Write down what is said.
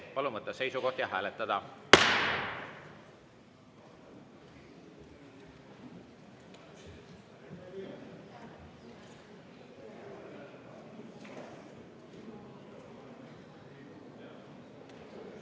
Palun võtta seisukoht ja hääletada!